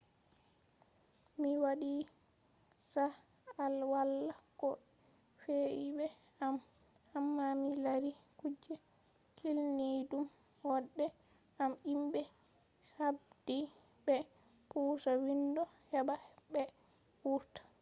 mi waɗi sa’a wala ko fe’i be am amma mi lari kuje kilniiɗum woɗais am himɓe habdi ɓe pusa windo heɓa ɓe wurta